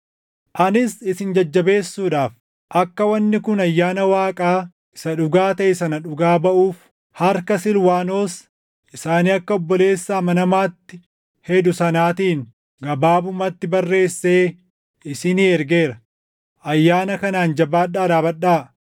Anis isin jajjabeessuudhaaf, akka wanni kun ayyaana Waaqaa isa dhugaa taʼe sana dhugaa baʼuuf harka Silwaanos isa ani akka obboleessa amanamaatti hedu sanaatiin gabaabumatti barreessee isinii ergeera. Ayyaana kanaan jabaadhaa dhaabadhaa.